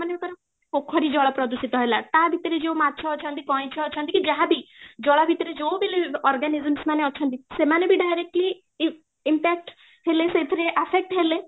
ମନେ ଧର ପୋଖରୀ ଜଳ ପ୍ରଦୂଷିତ ହେଲା ତା ଭିତରେ ଯୋଉ ମାଛ ଅଛନ୍ତି କଇଁଛ ଅଛନ୍ତି କି ବି ଯାହା ବି ଜଳ ଭିତରେ ଯୋଉ ବି living organisms ମାନେ ବି ଅଛନ୍ତି ସେମାନେ ବି directly impact ହେଲେ ସେଇଥିରେ affect ହେଲେ